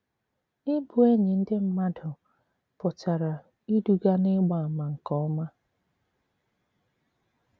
Ị̀bụ̀ ènỳí ndị mmàdù pụtara ìdùgà n'ị̀gbà àmà nke òma.